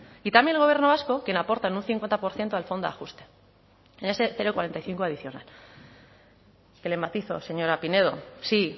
y también el gobierno vasco quien aporta en un cincuenta por ciento al fondo de ajuste en ese cero coma cuarenta y cinco adicional que le matizo señora pinedo sí